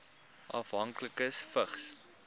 afhanklikes vigs